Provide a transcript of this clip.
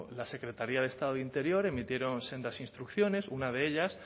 la secretaría de estado de interior emitieron sendas instrucciones una de ellas